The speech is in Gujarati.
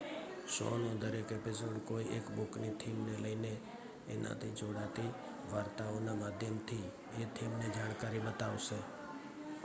શો નો દરેક એપિસોડ કોઈ એક બુક ની થીમ ને લઈને એના થી જોડાતી વાર્તાઓ ના માધ્યમ થી એ થીમ ની જાણકારી બતાવશે